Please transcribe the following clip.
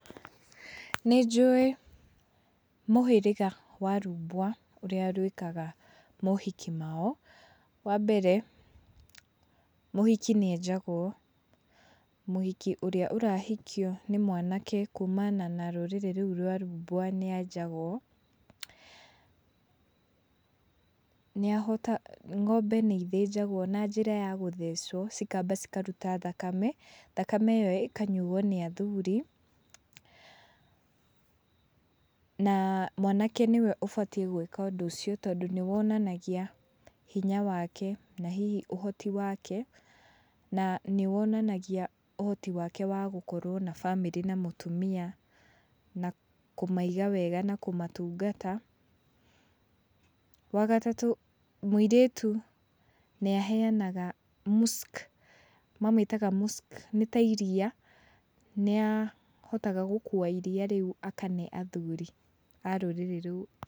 Nĩ njũĩ mũhĩriga wa rumbwa, ũrĩa rwĩkaga mohiki mao. Wambere, mũhiki nĩenjagũo. Mũhiki ũrĩa ũrahikio nĩ mwanake kumana na rũrĩrĩ rũu rwa rũmbwa nĩenjagũo. Nĩahota, ng'ombe nĩithĩnjagũo na njĩra ya gũthecũo cikamba cikaruta thakame, thakame ĩyo ĩkanyuo nĩ athuri na mwanake nĩwe ũbatiĩ gwĩka ũndũ ũcio, tondũ nĩwonanagia hinya wake, na hihi ũhoti wake, na nĩwonanagia ũhoti wake wa gũkorũo na bamĩrĩ na mũtumia, na kũmiaga wega na kũmatungata. Wagatatu, mũirĩtu nĩaheanaga musk, mamĩtaga musk, nĩta iria, nĩahotaga gũkua iria rĩu akane athuri a rũrĩrĩ rũu.